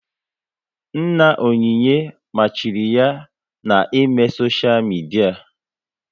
Nna Onyinye machiri ya na ị mee soshia midia